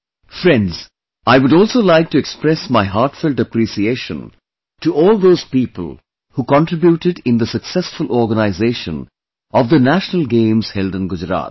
Friends, I would also like to express my heartfelt appreciation to all those people who contributed in the successful organization of the National Games held in Gujarat